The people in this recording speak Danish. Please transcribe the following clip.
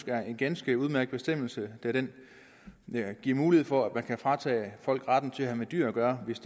er en ganske udmærket bestemmelse da den giver mulighed for at man kan fratage folk retten til at have med dyr gøre hvis